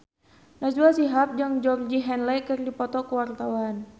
Najwa Shihab jeung Georgie Henley keur dipoto ku wartawan